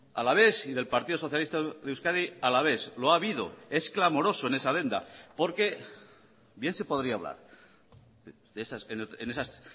alavés y del partido socialista de euskadi alavés lo ha habido es clamoroso en esa adenda porque bien se podría hablar en esas